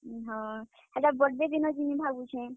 ହଁ, ହେଟା birthday ଦିନ ଯିମି ଭାବୁଛେଁ।